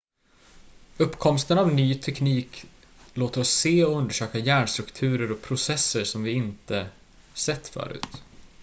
uppkomsten av ny teknik låter oss se och undersöka hjärnstrukturer och processer som vi inte har sett förr